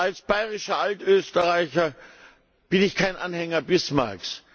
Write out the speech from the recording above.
Als bayerischer Altösterreicher bin ich kein Anhänger Bismarcks.